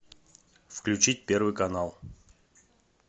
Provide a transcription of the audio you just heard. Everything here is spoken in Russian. включить первый канал